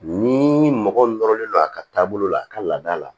Ni mɔgɔ min nɔrɔlen don a ka taabolo la a ka laada la